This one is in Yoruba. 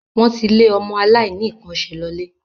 Wọ́n ti le ọmọ aláìníkànṣe lọlé.